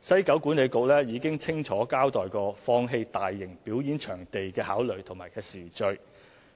西九管理局已清楚交代放棄大型表演場地的考慮和時序，